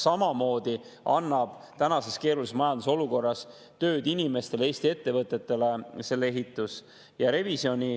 Samamoodi annab selle ehitus tänases keerulises majandusolukorras inimestele, Eesti ettevõtetele tööd.